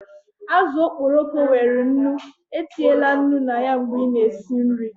Azụ okporoko nwere nnu, co etinyela nnu na ya mgbe ị na-esi nri